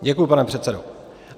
Děkuji, pane předsedo.